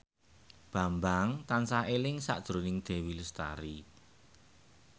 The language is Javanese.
Bambang tansah eling sakjroning Dewi Lestari